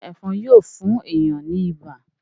ṣe Ẹ̀fọ̀n Yíò fún èyán ní ibà?